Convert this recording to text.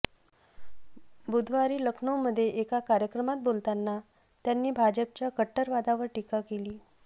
बुधवारी लखनऊमध्ये एका कार्यक्रमात बोलताना त्यांनी भाजपाच्या कटटरतावादावर टीका केली